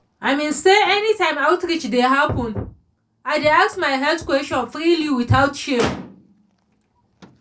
i mean say anytime outreach dey happen i dey ask my health questions freely without shame